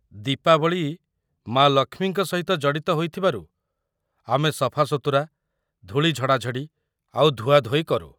ଦୀପାବଳି ମା' ଲକ୍ଷ୍ମୀଙ୍କ ସହିତ ଜଡ଼ିତ ହୋଇଥିବାରୁ ଆମେ ସଫାସୁତୁରା, ଧୂଳି ଝଡ଼ାଝଡ଼ି, ଆଉ ଧୁଆଧୋଇ କରୁ ।